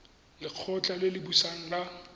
lekgotla le le busang la